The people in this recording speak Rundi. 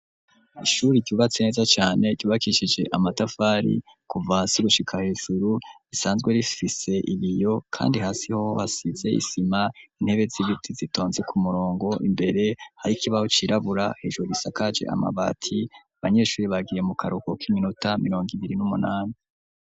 Ishuri ryubatse neza cane ryubakishije amatafari kuva hasi gushika hejuru, risanzwe rifise ibiyo, kandi hasiho hasize isima, intebe z'ibiti zitonze ku murongo ,imbere harikibaho cirabura, hejuru gisakaje amabati, Abanyeshuri bagiye mu karuhuko k'iminota mirongo ibiri n'umunani.